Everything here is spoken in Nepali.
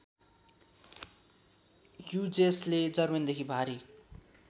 ह्युजेसले जर्मनीदेखि भारी